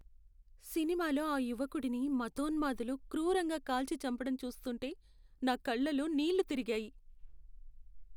సినిమాలో ఆ యువకుడిని మతోన్మాదులు క్రూరంగా కాల్చి చంపడం చూస్తుంటే నా కళ్లలో నీళ్లు తిరిగాయి.